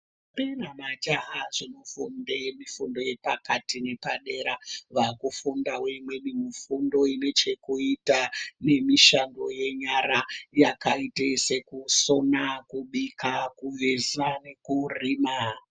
Ndombi nemajaha zvinofunda mifundo yepakati nepadera vakufundira imweni mifundo ine chekuita nemishando yenyara yakaita sekusoma kuveza nekurima.